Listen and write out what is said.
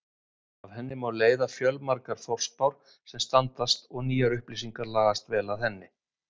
Af henni má leiða fjöldamargar forspár sem standast og nýjar upplýsingar lagast vel að henni.